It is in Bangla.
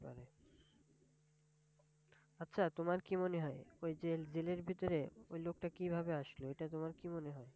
আচ্ছা, তোমার কি মনে হয় ওই যে জেলের ভিতরে ওই লোকটা কিভাবে আসলো? এটা তোমার কি মনে হয়?